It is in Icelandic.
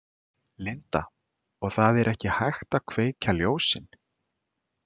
Linda: Og það er ekki hægt að kveikja ljósin?